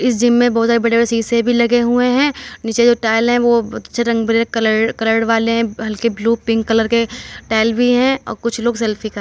इस जिम में बहोत ज्यादा बड़े- बड़े शीशे भी लगे हुए हैं। नीचे जो टाइल हैं वो अच्छे रंग- बिरंग कलर - कलर वाले हल्के ब्लू पिंक कलर के टाइल भी हैं और कुछ लोग सेल्फी ख --